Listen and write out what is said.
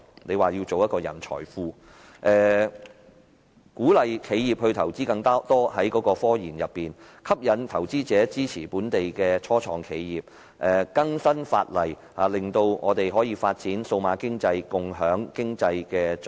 他說要建立一個人才庫、鼓勵企業增加科研投資、吸引投資者支持本地初創企業、更新法例，令我們能夠發展數碼經濟，共享經濟成果。